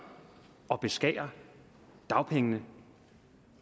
at beskære dagpengene og